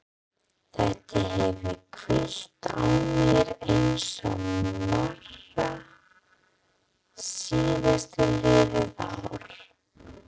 Þetta hefur hvílt á mér eins og mara síðastliðið ár.